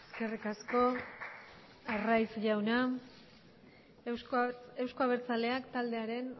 eskerrik asko arraiz jauna euzko abertzaleak taldearen